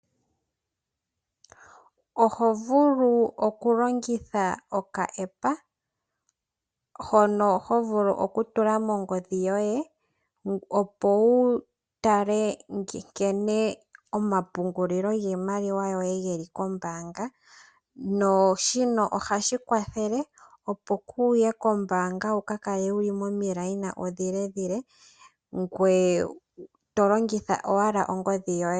Oho vulu okulongitha okaAppa hono ho vulu okutula mongodhi yoye, opo wu tale nkene omapungulilo giimaliwa yoye ge li kombaanga. Shino oha shi kwathele opo ku ye kombaanga wu ka kale momikeyo omile. Oto longitha owala ongodhi yoye.